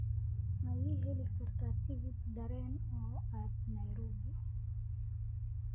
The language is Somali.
ma ii heli kartaa tigidh tareen oo aad nairobi